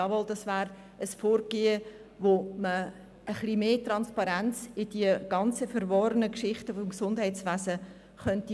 Jawohl, das wäre ein Vorgehen, mit dem man etwas mehr Transparenz in die ganzen verworrenen Geschichten im Gesundheitswesen bringen könnte.